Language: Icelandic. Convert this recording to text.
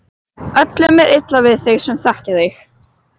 Öllum er illa við þig sem þekkja þig!